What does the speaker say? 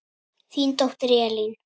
Þín dóttir Elín.